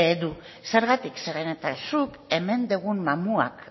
du zergatik zeren eta zuk hemen dugun mamuak